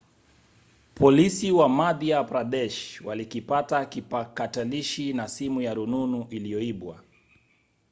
polisi wa madhya pradesh walikipata kipakatalishi na simu ya rununu iliyoibwa